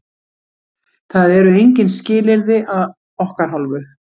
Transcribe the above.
Það eru engin skilyrði að okkar hálfu.